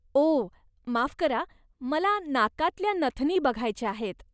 ओह, माफ करा, मला नाकातल्या नथनी बघायच्या आहेत.